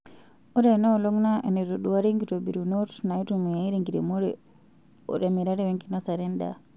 Ore enaolong' naa enaitoduari nkititobirunot naitumiyay tenkiremore ote mirare wenkinosare endaa.